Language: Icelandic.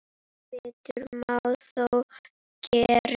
Betur má þó gera.